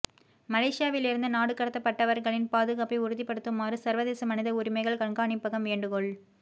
மலேசியாவிலிருந்து நாடுகடத்தப்பட்டவர்களின் பாதுகாப்பை உறுதிப்படுத்துமாறு சர்வதேச மனித உரிமைகள் கண்காணிப்பகம் வேண்டுகோள்